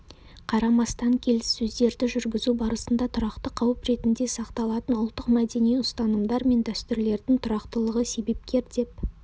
қарамастан келіссөздерді жүргізу барысында тұрақты қауіп ретінде сақталатын ұлттық мәдени ұстанымдар мен дәстүрлердің тұрақтылығы себепкер деп